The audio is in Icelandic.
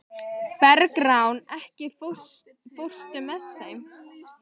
Bergrán, ekki fórstu með þeim?